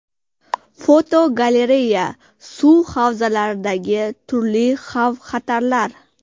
Fotogalereya: Suv havzalaridagi turli xavf-xatarlar.